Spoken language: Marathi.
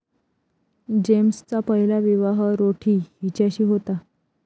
जेम्सचा पहिला विवाह रोठी हिच्याशी होता.